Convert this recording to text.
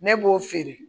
Ne b'o feere